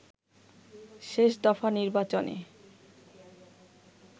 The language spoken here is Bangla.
শেষ দফা নির্বাচনে